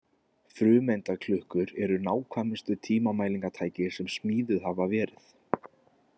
Frumeindaklukkur eru nákvæmustu tímamælingatæki sem smíðuð hafa verið.